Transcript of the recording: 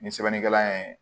Ni sɛbɛnnikɛla ye